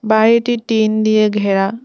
বাড়িটি টিন দিয়ে ঘেরা।